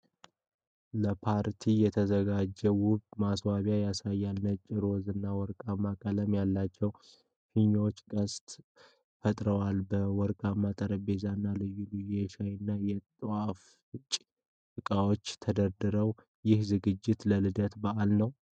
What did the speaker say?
ለፓርቲ የተዘጋጀ ውብ ማስዋቢያ ያሳያል። ነጭ፣ ሮዝ እና ወርቃማ ቀለም ያላቸው ፊኛዎች ቅስት ፈጥረዋል። ወርቃማ ጠረጴዛዎች እና ልዩ ልዩ የሻይና የጣፋጭ ዕቃዎች ተደርድረዋል። ይህ ዝግጅት ለልደት በዓል ነው?